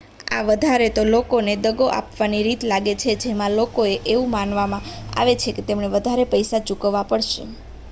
આ વધારે તો લોકોને દગો આપવાની રીત લાગે છે કે જેમાં લોકો ને એવું મનાવવામાં આવે છે કે તેમણે વધારે પૈસા ચૂકવવા પડશે